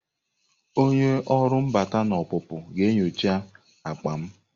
Onye ọrụ mbata na ọpụpụ ga-enyocha akpa m.